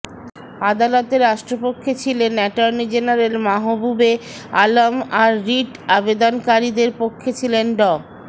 আদালতে রাষ্ট্রপক্ষে ছিলেন অ্যাটর্নি জেনারেল মাহবুবে আলম আর রিট আবেদনকারীদের পক্ষে ছিলেন ড